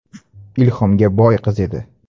Ilhomga boy qiz edi.